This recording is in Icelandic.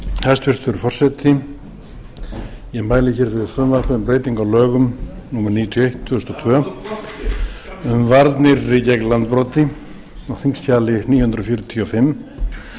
hæstvirtur forseti ég mæli fyrir frumvarpi um breytingu á lögum númer níutíu og eitt tvö þúsund og tvö um varnir gegn landbroti á þingskjali níu hundruð fjörutíu og fimm